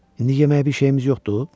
İndi yeməyə bir şeyimiz yoxdur?